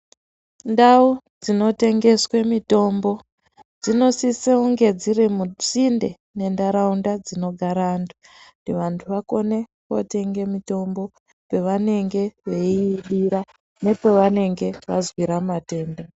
Ndau dzinotengeswe mitombo, dzinosise unge dziri musinde nendaraunda dzinogara antu, kuti vantu vakone kotenge mitombo pavanenge veyiyidira nepavanenge vazwira matenda.